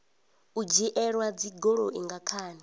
u dzhielwa dzigoloi nga khani